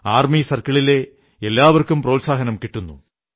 army സർക്കിളിലെ എല്ലാവർക്കും പ്രോത്സാഹനം കിട്ടുന്നു